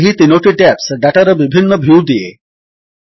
ଏହି 3ଟି ଟ୍ୟାବ୍ସ ଡାଟାର ବିଭିନ୍ନ ଭ୍ୟୁ ଦିଏ